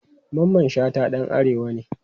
Mamman Shata dan arewa ne.